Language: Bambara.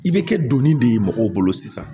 I bɛ kɛ donni de ye mɔgɔw bolo sisan